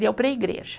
Deu para a igreja.